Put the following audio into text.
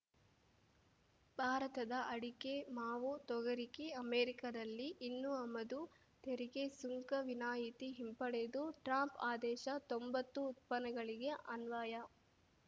ಭಾರತದ ಅಡಿಕೆ ಮಾವು ತೊಗರಿಗೆ ಅಮೆರಿಕದಲ್ಲಿ ಇನ್ನು ಆಮದು ತೆರಿಗೆ ಸುಂಕ ವಿನಾಯಿತಿ ಹಿಂಪಡೆದು ಟ್ರಂಪ್‌ ಆದೇಶ ತೊಂಬತ್ತು ಉತ್ಪನ್ನಗಳಿಗೆ ಅನ್ವಯ